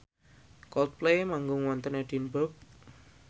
Coldplay manggung wonten Edinburgh